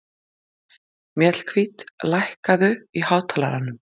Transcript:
Mjallhvít, lækkaðu í hátalaranum.